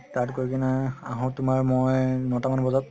তাত গৈ কিনে আহো মই তুমাৰ নৈ তা মান বজাত